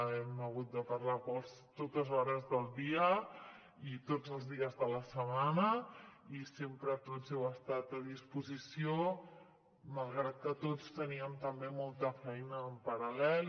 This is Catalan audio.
hem hagut de parlar a totes hores del dia i tots els dies de la setmana i sempre tots heu estat a disposició malgrat que tots teníem també molta feina en paral·lel